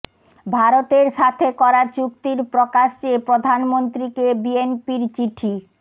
ভারতের সাথে করা চুক্তির প্রকাশ চেয়ে প্রধানমন্ত্রীকে বিএনপির চিঠি